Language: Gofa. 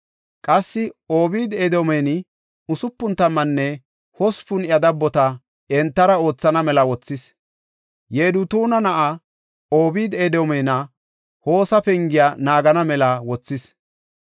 Qassi Obeed-Edoomenne usupun tammanne hospun iya dabbota entara oothana mela wothis; Yedutuuna na7aa Obeed-Edoomenne Hosa pengiya naagana mela wothis.